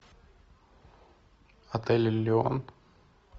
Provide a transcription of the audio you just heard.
отель элеон